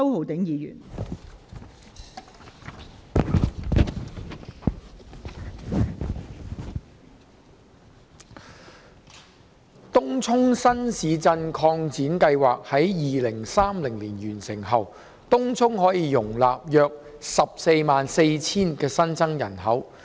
東涌新市鎮擴展計劃於2030年完成後，東涌可容納約144000新增人口。